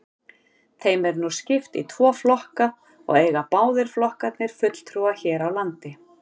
Þeim er nú skipt í tvo flokka og eiga báðir flokkarnir fulltrúa hér á landi.